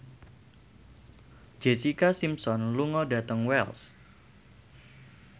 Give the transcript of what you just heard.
Jessica Simpson lunga dhateng Wells